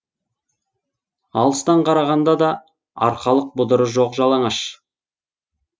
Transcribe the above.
алыстан қарағанда да арқалық бұдыры жоқ жалаңаш